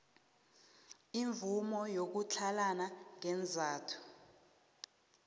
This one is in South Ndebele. imvumo yokutlhalana ngeenzathu